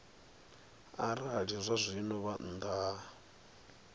arali zwazwino vha nnḓa ha